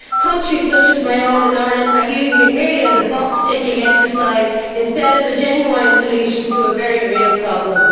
Countries such as my own Ireland are using it merely as a box ticking exercise instead of a genuine solution to a very real problem.